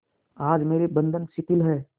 आज मेरे बंधन शिथिल हैं